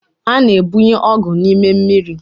A na-egbunye ọgwụ n’ime mmiri